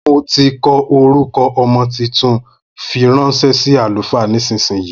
Mo tí kọ orúkọ ọmọ tuntun, fí ránṣẹ sí àlùfáà nísìsiyìí